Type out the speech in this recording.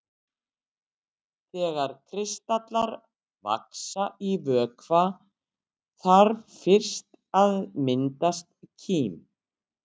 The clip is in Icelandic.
Þegar kristallar vaxa í vökva þarf fyrst að myndast kím.